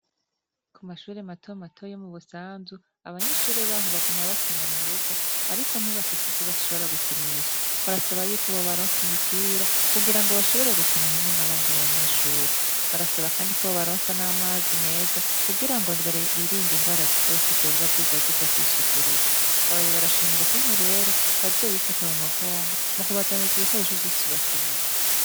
Kumashure mato mato yo mubusanzu, abanyeshure baho bagima bakina murugo, ariko ntibafise ivyo bashobora gukinisha. Barasaba yuko bobaronsa imipira, kugira ngo bashobore gukina hamwe n'abandi banyeshure. Barasaba kandi ko bobaronsa n 'amazi meza, kugira ngo birinde ingwara zose zoba ziza ziva kw'isuku rike. Babaye barashimira ukuntu rero, bazobifata mumugongo, mukubazanira ivyo bikoresho vyose bakeneye.